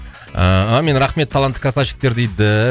ыыы әумин рахмет талантты красавчиктер дейді